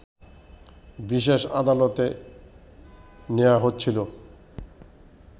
বিশেষ আদালতে নেয়া হচ্ছিল